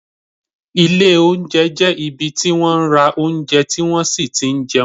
Ilé oúnjẹ jẹ́ ibi tí wọ́n ra oúnjẹ tí wón sì ti n jẹun